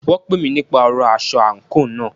Wọ́n pè mí nípa ọ̀rọ aṣọ àńkò náà.